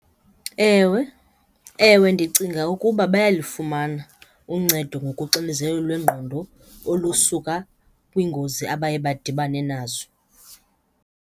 Ewe. Ewe, ndicinga ukuba bayalufumana uncedo ngokuxinizelelo lwengqondo olusuka kwiingozi abaye badibane nazo.